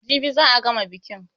Jibi za a gama bikin.